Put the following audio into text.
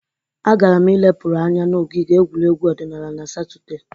Agara m ilepụrụ anya n'ogige egwuregwu odịnaala na satọde.